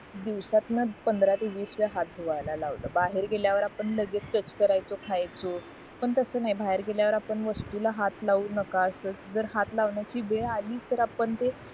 दिवसातनं पंधरा ते वीस वेळा हाथ धुवायला लावला बाहेर गेल्यावर आपण लगेच टच करायचो खायचो पण तास नाही आपण वस्तुंला हाथ लाऊ नका असं जर हाथ लावण्याची वेळ अली तर आपण ते